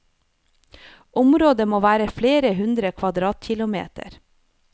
Området må være flere hundre kvadratkilometer.